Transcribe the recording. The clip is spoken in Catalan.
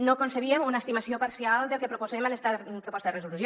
no concebíem una estimació parcial del que proposem en esta proposta de resolució